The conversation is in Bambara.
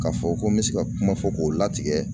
K'a fɔ ko n bɛ se ka kuma fɔ k'o latigɛ.